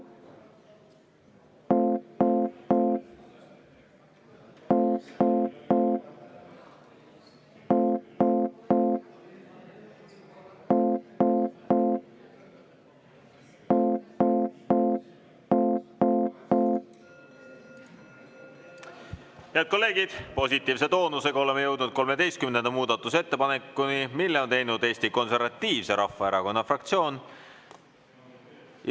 Head kolleegid, positiivse toonusega oleme jõudnud 13. muudatusettepanekuni, mille on teinud Eesti Konservatiivse Rahvaerakonna fraktsioon.